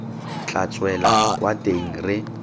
tla tswela kwa teng re